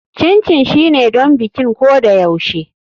Chin chin shine don bikin ko da yaushe.